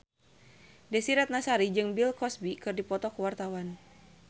Desy Ratnasari jeung Bill Cosby keur dipoto ku wartawan